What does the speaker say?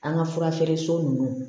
An ka fura feere so ninnu